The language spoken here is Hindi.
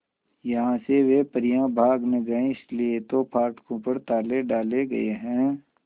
यहां से वे परियां भाग न जाएं इसलिए तो फाटकों पर ताले डाले गए हैं